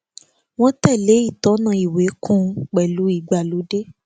wọn tèlé ìtọná ìwé kún un pẹlú ìgbàlódé